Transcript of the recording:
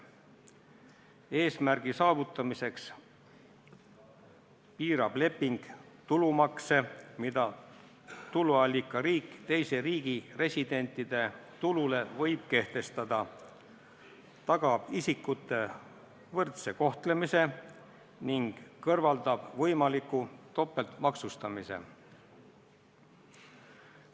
Eesmärgi saavutamiseks piirab leping tulumaksu, mida tuluallikariik teise riigi residentide tulule võib kehtestada, tagab isikute võrdse kohtlemise ning kõrvaldab võimaliku topeltmaksustamise.